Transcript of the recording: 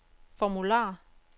formular